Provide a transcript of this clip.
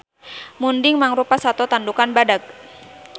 Munding mangrupa sato tandukan badag